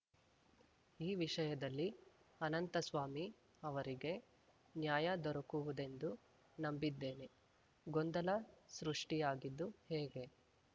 ಈ ವಿಷಯದಲ್ಲಿ ಅನಂತಸ್ವಾಮಿ ಅವರಿಗೆ ನ್ಯಾಯ ದೊರಕುವುದೆಂದು ನಂಬಿದ್ದೇನೆ ಗೊಂದಲ ಸೃಷ್ಟಿಯಾಗಿದ್ದು ಹೇಗೆ